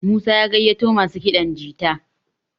Musa ya gaiyato masu kiɗan jita